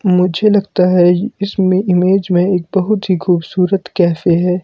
मुझे लगता है इसमें इमेज में एक बहुत ही खूबसूरत कैफे है।